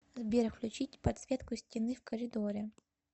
сбер включить подсветку стены в коридоре